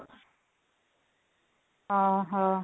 ଓ ହ